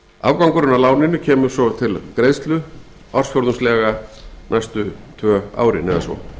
afgangurinn af láninu kemur svo til greiðslu ársfjórðungslega næstu tvö árin eða svo